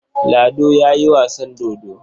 Lado ya yi wasan dodo.